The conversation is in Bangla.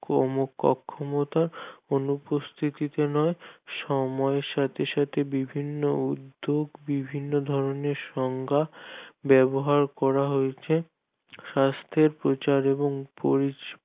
অমুখ অক্ষমতার অনুপস্থিতিতে হয় সময়ের সাথে সাথে বিভিন্ন উদ্যোগ বিভিন্ন ধরনের সংজ্ঞা ব্যাবহার করা হয়েছে স্বাস্থের প্রচার এবং